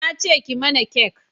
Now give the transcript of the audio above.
na ce ki mana kek